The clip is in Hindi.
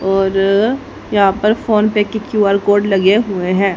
और यहां पर फोनपे की क्यू_आर कोड लगे हुए हैं।